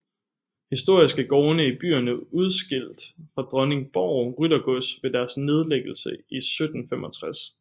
Historisk er gårdene i byerne udskilt fra Dronningborg Ryttergods ved dettes nedlæggelse i 1765